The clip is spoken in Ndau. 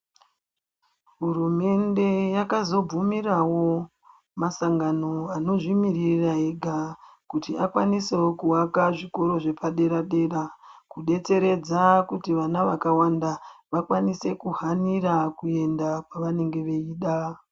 Hurumende yakazobvumirawo, masangano anozvimirira ega kuti akwanisewo kuaka zvikora zvepadera-dera, kudetseredza kuti vana vakawanda, vakwanise kuhanira kuenda kwavanenge veida.